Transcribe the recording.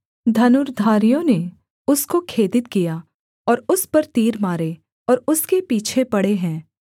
धनुर्धारियों ने उसको खेदित किया और उस पर तीर मारे और उसके पीछे पड़े हैं